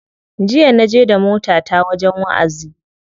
Jiya na je da motata wajen wa'azi.